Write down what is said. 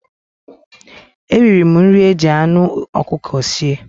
Eriri m nri e jị anụ ọkụkọ sie.